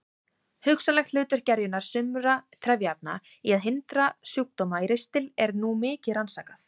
Hugsanlegt hlutverk gerjunar sumra trefjaefna í að hindra sjúkdóma í ristli er nú mikið rannsakað.